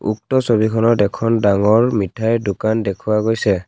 উক্ত ছবিখনত এখন ডাঙৰ মিঠাইৰ দোকান দেখুৱা গৈছে।